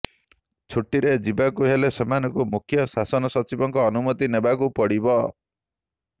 ଛୁଟିରେ ଯିବାକୁ ହେଲେ ସେମାନଙ୍କୁ ମୁଖ୍ୟ ଶାସନ ସଚିବଙ୍କ ଅନୁମତି ନେବାକୁ ପଡ଼ିବ